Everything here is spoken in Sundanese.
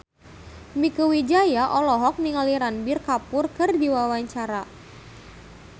Mieke Wijaya olohok ningali Ranbir Kapoor keur diwawancara